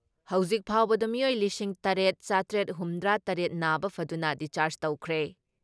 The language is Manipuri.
ꯍꯧꯖꯤꯛ ꯐꯥꯎꯕꯗ ꯃꯤꯑꯣꯏ ꯂꯤꯁꯤꯡ ꯇꯔꯦꯠ ꯆꯥꯇ꯭ꯔꯦꯠ ꯍꯨꯝꯗ꯭ꯔꯥ ꯇꯔꯦꯠ ꯅꯥꯕ ꯐꯗꯨꯅ ꯗꯤꯁꯆꯔꯥꯖ ꯇꯧꯈ꯭ꯔꯦ ꯫